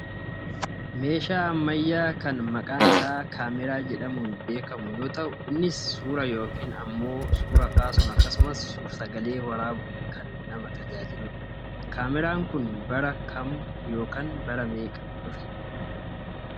Meeshaa amayyaa kan maqaan isaa kaameraa jedhamuun beekkamu yoo ta'u innis suura yookaan ammoo suuraa kaasuun akkasumas suur sagalee waraabuun kan nama tajaajiludha. Kaameraan kun bara kam yookaan bara meeqa dhufe?